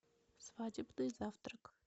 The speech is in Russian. свадебный завтрак